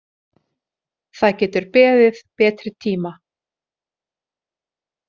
Það getur beðið betri tíma.